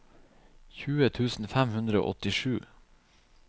tjue tusen fem hundre og åttisju